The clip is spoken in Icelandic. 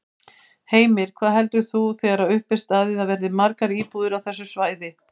Heimir: Hvað heldur þú þegar upp er staðið að verði margar íbúðir á þessu svæði?